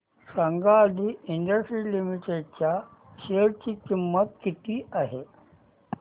सांगा Adi industries limited च्या share ची किंमत किती आहे